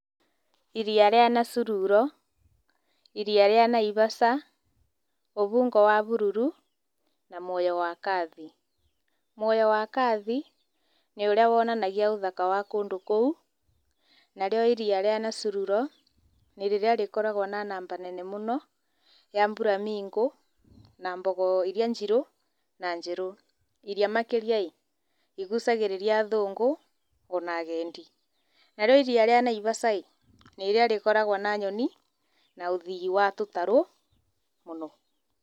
Iria rĩa Nasururo. iria rĩa Naivasha, Uvungo wa bururu na Mwoyo wa Kathi. Muoyo wa Kathi nĩ ũrĩa wonanagia ũthaka wa kũndũ kũu, narĩo Iria rĩa Nasururo nĩ rĩrĩa rĩkoragwo na namba nene mũno ya Flamingo na mbogo iria njirũ na njerũ. Iria makĩria ĩ igucagĩrĩria athũngũ ona agendi. Narĩo iria rĩa Naivasha ĩ nĩ rĩrĩa rĩkoragwo na nyoni na ũthii wa tũtarũ mũno.